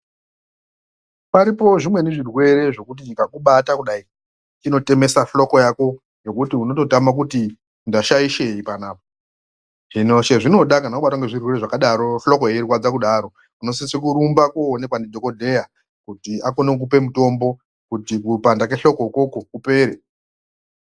Paripowo zvimweni zvirwere zvekuti chikakubata kudai chinotemesa xhloko yako zvekuti unototame kuti ndashaishei panapa. Hino chezvinoda kana wabatwa ngezvirwere zvakadaro, xhloko yeirwadza kudaro unosise kurumba koonekwa ndidhokodheya kuti akone kukupe mutombo kuti kupanda kwexhloko ukwokwo kupere.